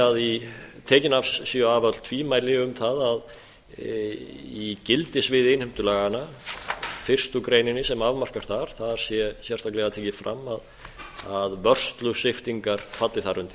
að tekin séu af öll tvímæli um það að í gildissviði innheimtulaganna fyrstu grein sem afmarkast þar þar sé sérstaklega tekið fram að vörslusviptingar falli þar undir